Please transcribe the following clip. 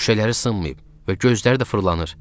Şüşələri sınmayıb və gözləri də fırlanır.